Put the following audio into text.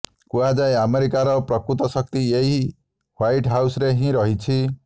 କୁହାଯାଏ ଆମେରିକାର ପ୍ରକୃତ ଶକ୍ତି ଏଇ ହ୍ୱାଇଟ୍ ହାଉସ୍ରେ ହିଁ ରହିଛି